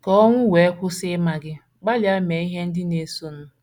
Ka owu wee kwụsị ịma gị, gbalịa mee ihe ndị na - esonụ: